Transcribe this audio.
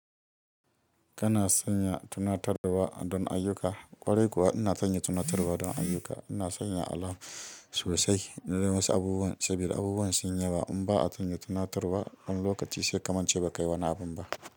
Kana sanya tunatarwa don ayyuka? Ƙwarai kuwa ina sanya tunatarwa don ayyuka. Ina sanya alarm sosai. In nai wasu abubuwan, saboda abubuwan suny yawa. In ba'a sanya tunatarwa, wani lokaci sai kamance ba kayi wani abun ba.